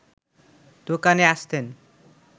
দোকানে আসতেন